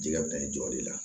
Jɛgɛ taɲɔ le la